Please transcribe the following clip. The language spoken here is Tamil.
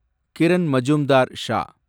கிரண் மசும்தார் ஷா